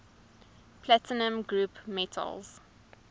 platinum group metals